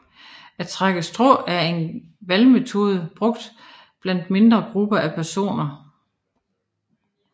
At trække strå er en valgmetode brugt blandt mindre grupper af personer